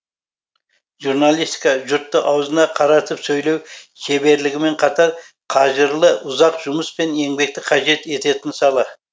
журналистика жұртты аузына қаратып сөйлеу шеберлігімен қатар қажырлы ұзақ жұмыс пен еңбекті қажет ететін сала